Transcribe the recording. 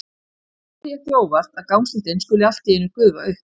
Það kemur því ekki á óvart að gangstéttin skuli allt í einu gufa upp.